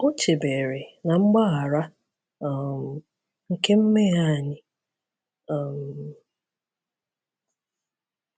O chebere na mgbbaghara um nke mmehie anyị. um